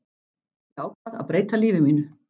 Ég ákvað að breyta lífi mínu.